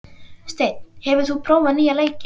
Steinn, hefur þú prófað nýja leikinn?